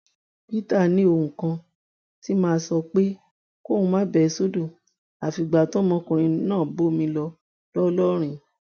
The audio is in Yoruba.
peter ní ohun kan tí máa ń sọ pé kóun bẹ sódò àfìgbà tọmọkùnrin náà bọmi lọ ńlọrọrin